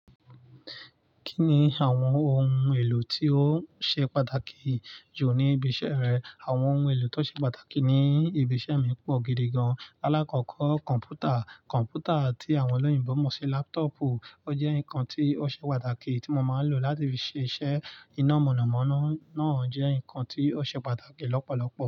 Kí ni àwọn ohun èlò tí ó ṣe pàtàkì jù ní ibi iṣẹ́ rẹ? Àwọn ohun èlò tó ṣe pàtàkì ní ibi iṣẹ́ mi pọ̀ gidi gan-an. Láàkọ́kọ́ kọ̀npútà, kọ̀npútà tí àwọn ọlọ́yinbọ̀ mọ̀ ṣe lápútọ̀ọ̀pù. Ó jẹ́ nǹkan tí ó ṣe pàtàkì tí mo máa ń lò láti fi ṣe iṣẹ́ iná. Mọ̀nàmọ́ná náà jẹ́ nǹkan tí ó ṣe pàtàkì lọ́pọ̀lọpọ̀